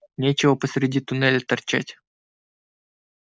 нечего посреди туннеля торчать